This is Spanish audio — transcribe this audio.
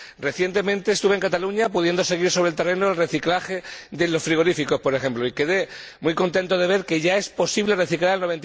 Recientemente estuve en Cataluña, done pude seguir sobre el terreno el reciclaje de los frigoríficos, por ejemplo, y quedé muy contento al ver que ya es posible reciclar el